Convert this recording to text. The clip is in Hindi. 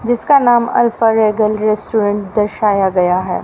जिसका नाम रेस्टोरेंट दर्शाया गया है।